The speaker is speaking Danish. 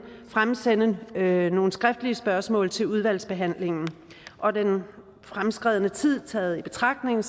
fremsende nogle skriftlige spørgsmål til udvalgsbehandlingen og den fremskredne tid taget i betragtning